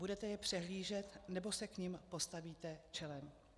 Budete je přehlížet, nebo se k nim postavíte čelem?